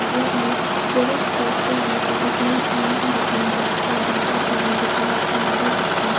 there are various poster and advertisement on the counter for data plan recharge and other aption .